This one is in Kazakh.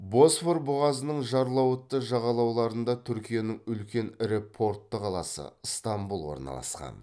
босфор бұғазының жарлауытты жағалауларында түркияның үлкен ірі портты қаласы ыстамбұл орналасқан